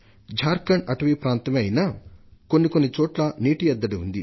ఝార్ ఖండ్ అటవీ ప్రాంతమే అయినా కొన్ని కొన్ని చోట్ల నీటి ఎద్దడి ఉంది